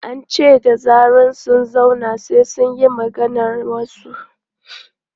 An ce da zarar sun zauna, sai su yi maganar wasu.